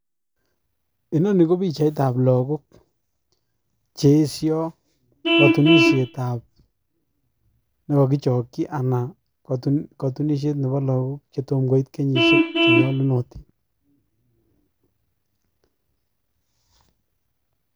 Inoni ko pichaitab look cheyesyot kotunisiet ab logok nekokichokchii look chetomo koit kenyisiek che nyolunotin